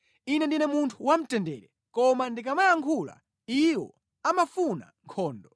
Ine ndine munthu wamtendere; koma ndikamayankhula, iwo amafuna nkhondo.